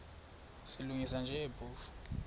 silungisa nje phofu